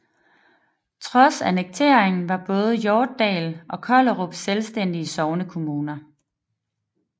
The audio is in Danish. Trods annekteringen var både Hjortdal og Kollerup selvstændige sognekommuner